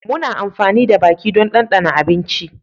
Muna amfani da baki don dandana abinci